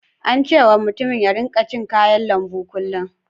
An ce wa mutumin ya rika cin kayan lambu kullum.